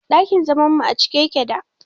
Dakin zaman mu acike yake da